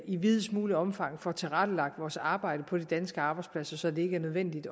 i videst mulige omfang får tilrettelagt vores arbejde på de danske arbejdspladser så det ikke er nødvendigt